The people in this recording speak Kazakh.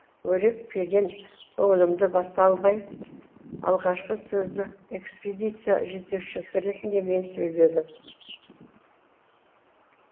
өрекпіген көңілімді баса алмай алғашқы сөзді экспедиция жетекшісі ретінде мен сөйледім